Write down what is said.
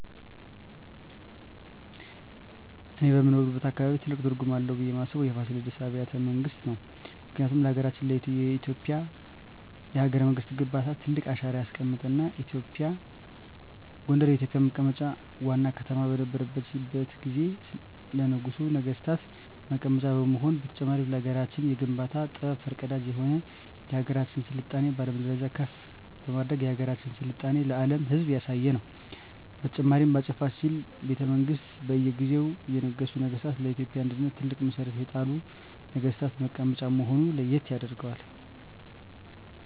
እኔ በምኖርበት አካባቢ ትልቅ ትርጉም አለው ብየ ማስበው የፋሲለደስ አቢያተ መንግስት ነው ምክንያቱም ለሀገረችን የኢትዮጵያ የሀገረ መንግስት ግንባታ ትልቅ አሻራ ያስቀመጠ እና ጎንደር የኢትዮጵ መቀመጫ ዋና ከተማ በነረችት ጊዜ ለነገሡ ነጠገስታት መቀመጫ መሆኑ በተጨማሪም ለሀገራችን የግንባታ ጥበብ ፈር ቀዳጅ የሆነ የሀገራችን ስልጣኔ በአለም ደረጃ ከፍ በማድረግ የሀገራችን ስልጣኔ ለአም ህዝብ ያሳየ ነው። በተጨማሪም በ አፄ ፋሲል ቤተመንግስት በእየ ጊዜው የነገሱ ነገስታ ለኢትዮጵያ አንድነት ትልቅ መሠረት የጣሉ ነግስታት መቀመጫ መሆነ ለየት ያደርገዋል።